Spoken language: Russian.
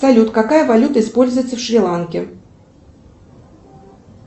салют какая валюта используется в шри ланке